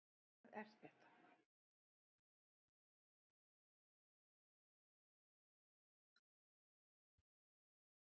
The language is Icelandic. Árni Friðriksson er einn af merkustu sporgöngumönnum í rannsóknum á lífríki hafsins hér við land.